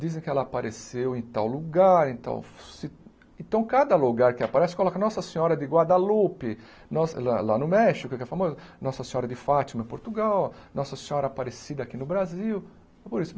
Dizem que ela apareceu em tal lugar, em tal ci... Então, cada lugar que aparece, coloca Nossa Senhora de Guadalupe, lá lá no México, que é famoso, Nossa Senhora de Fátima em Portugal, Nossa Senhora aparecida aqui no Brasil. Foi por isso